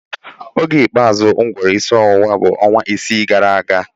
Oge ikpeazụ m gworo isi ọwụwa bụ ọnwa isii gara aga